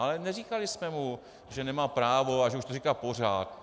Ale neříkali jsme mu, že nemá právo a že už to říká pořád.